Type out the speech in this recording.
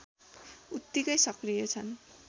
उत्तिकै सक्रिय छन्